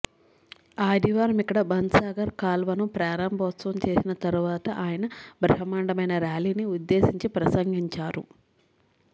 ఆదివారం ఇక్కడ బన్సాగర్ కాల్వను ప్రారంభోత్సవం చేసిన తర్వాత ఆయన బ్రహ్మాండమైన ర్యాలీని ఉద్దేశించి ప్రసంగించారు